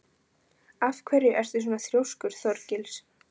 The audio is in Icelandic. Af hverju ertu svona þrjóskur, Þorgils?